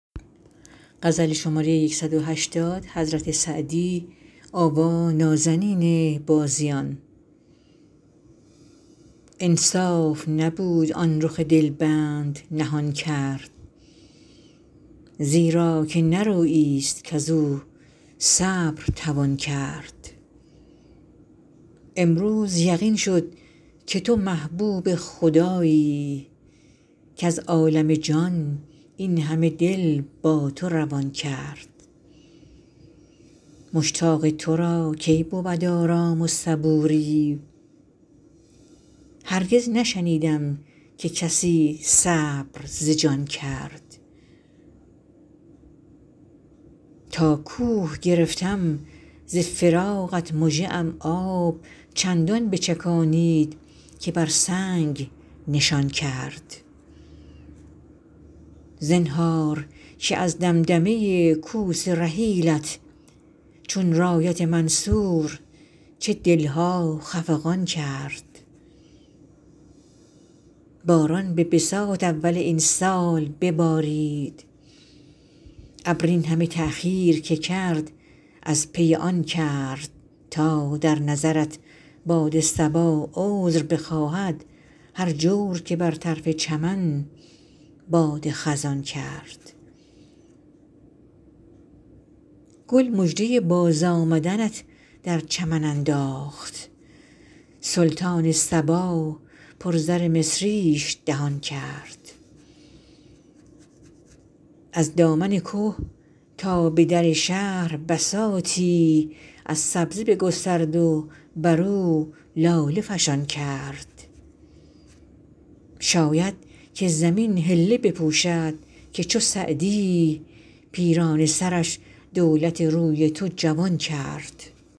انصاف نبود آن رخ دل بند نهان کرد زیرا که نه رویی ست کز او صبر توان کرد امروز یقین شد که تو محبوب خدایی کز عالم جان این همه دل با تو روان کرد مشتاق تو را کی بود آرام و صبوری هرگز نشنیدم که کسی صبر ز جان کرد تا کوه گرفتم ز فراقت مژه ام آب چندان بچکانید که بر سنگ نشان کرد زنهار که از دمدمه کوس رحیلت چون رایت منصور چه دل ها خفقان کرد باران به بساط اول این سال ببارید ابر این همه تأخیر که کرد از پی آن کرد تا در نظرت باد صبا عذر بخواهد هر جور که بر طرف چمن باد خزان کرد گل مژده بازآمدنت در چمن انداخت سلطان صبا پر زر مصریش دهان کرد از دامن که تا به در شهر بساطی از سبزه بگسترد و بر او لاله فشان کرد شاید که زمین حله بپوشد که چو سعدی پیرانه سرش دولت روی تو جوان کرد